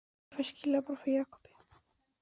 Ég fer um leið og ég fæ skilaboð frá Jakobi.